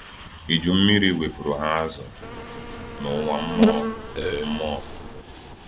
Iju mmiri wepụrụ ha azụ n’ụwa mmụọ. mmụọ.